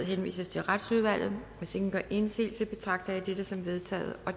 henvises til retsudvalget hvis ingen gør indsigelse betragter jeg det som vedtaget